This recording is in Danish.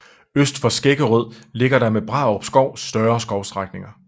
Øst for Skæggerød ligger der med Brarup Skov større skovstrækninger